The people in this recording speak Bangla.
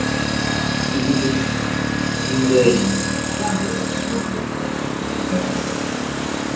কিছু কিছু কিছু থিম রয়েছে ।